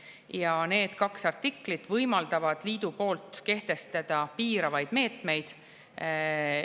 Ja need kaks artiklit võimaldavad liidul kehtestada piiravaid meetmeid.